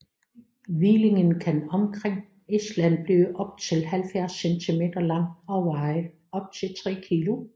Hvillingen kan omkring Island blive op til 70 centimeter lang og veje op til tre kilo